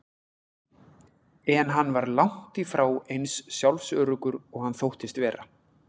En hann var langt í frá eins sjálfsöruggur og hann þóttist vera.